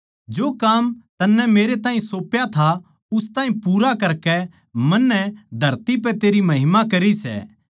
जो काम तन्नै मेरैताहीं सौप्या था उस ताहीं पूरा करकै मन्नै धरती पै तेरी महिमा करी सै